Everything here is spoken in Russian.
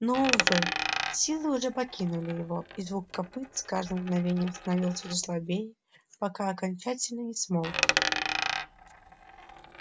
но увы силы уже покинули его и звук копыт с каждым мгновением становился все слабее пока окончательно не смолк